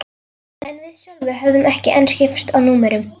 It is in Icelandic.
En við Sölvi höfðum ekki enn skipst á númerum.